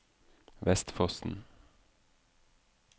Vestfossen